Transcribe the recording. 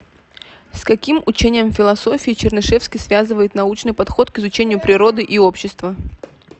с каким учением в философии чернышевский связывает научный подход к изучению природы и общества